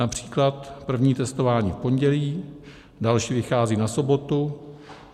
Například první testování v pondělí, další vychází na sobotu.